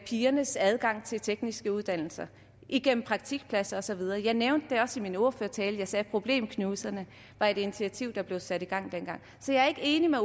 pigernes adgang til tekniske uddannelser igennem praktikpladser og så videre jeg nævnte det også i min ordførertale jeg sagde at problemknuserne var et initiativ der blev sat i gang dengang så jeg er ikke enig med